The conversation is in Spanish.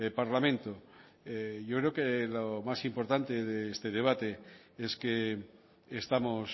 parlamento yo creo que lo más importante de este debate es que estamos